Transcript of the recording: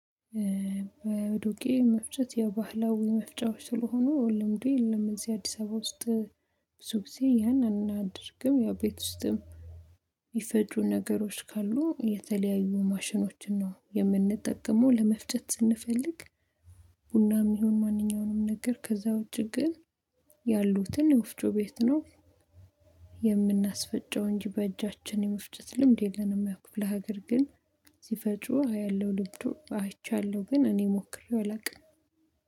በዱቄ መፍጨት የባህላዊ መፍጨቶች ስለሆኑ ልምዱን እነዚህ አዲስ አበባ ውስጥ ብዙ ጊዜ ያንን አንድ ድርግም ያ ቤት ውስጥም የሚፈጁ ነገሮች ካሉ የተለያዩ ማሽኖችን ነው የምንጠቀመው ለመፍጨት ስንፈልግ። ቡናም ይሁን ማንኛውንም ነገር ከዛ ውጪ ግን ያሉትን የወፍጮ ቤት ነው። የምናስፈጨው እንጂ በእጃችን የመፍጨት ልምድ የለንም። ያው የክፍለ ሀገር ግን ሲፈጩ አያለሁ ልብዱ አይቻለሁ ግን እኔ ሞክሬው አላውቅም